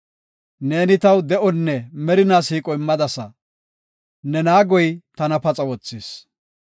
Neeni taw de7onne merinaa siiqo immadasa; ne naagoy tana paxa wothis.